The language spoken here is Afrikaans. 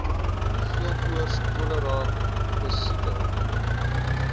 geelkoors cholera pessiekte